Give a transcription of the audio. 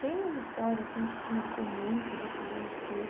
Tem uma história assim que te marcou muito desses anos